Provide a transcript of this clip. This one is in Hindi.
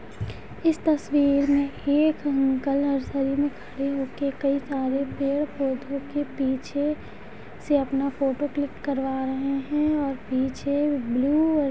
इस तस्वीर में एक अंकल नर्सरी में खड़े हो के कई सारे पेड़-पौधों के पीछे से अपना फोटो क्लिक करवा रहे हैं और पीछे ब्लू और--